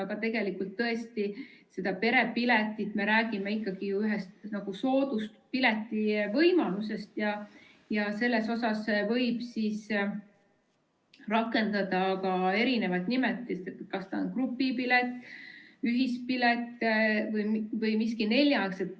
Aga tegelikult tõesti me räägime ikkagi ju ühest sooduspileti võimalusest ja selles puhul võib kasutada erisuguseid nimetusi – kas ta on grupipilet, ühispilet või midagi muud.